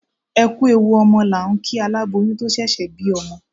Ẹ kú ewu ọmọ là ń kí aláboyún tó ṣẹ̀ṣẹ̀ bí ọmọ.